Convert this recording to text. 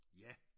Ja!